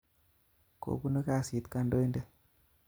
Kobunu kasit kodoin'det